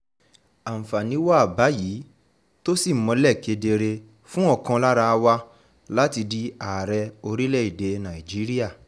àǹfààní wà báyìí tó sì mọ́lẹ̀ kedere fún ọ̀kan lára wa láti di ààrẹ orílẹ̀‐èdè nàíjíríà